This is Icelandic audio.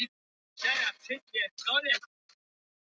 Hann hreyfði sig ekki og þannig lágu þau drjúga stund.